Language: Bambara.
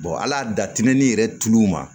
ala datimɛ ni yɛrɛ tulu ma